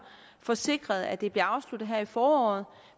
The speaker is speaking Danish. få sikret at det bliver afsluttet her i foråret